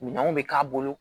Minɛnw bɛ k'a bolo